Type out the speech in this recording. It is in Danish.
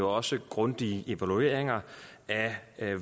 også grundige evalueringer af